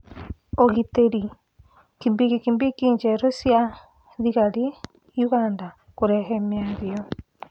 Ũgitĩri: kibikibi njerũ cia thigari Ũganda kũrehe mĩario